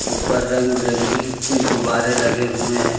ऊपर रंग बिरंगी कुछ गुब्बारे लगे हुए हैं।